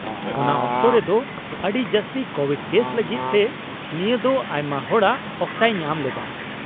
-ᱚᱱᱟ ᱚᱠᱛᱚ ᱨᱮᱫᱚ ᱟᱹᱰᱤ ᱡᱟᱹᱥᱛᱤ ᱠᱳᱵᱷᱤᱰ ᱠᱮᱥ ᱞᱟᱹᱜᱤᱫ ᱛᱮ ᱱᱤᱭᱟᱹ ᱫᱚ ᱟᱭᱢᱟ ᱦᱚᱲᱟᱜ ᱚᱠᱛᱟᱭ ᱧᱟᱢ ᱞᱮᱫᱟ ᱾